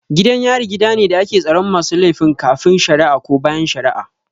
Gidan yari gidane da ake tsaron masu laifin kafin shara'a ko bayan shara'a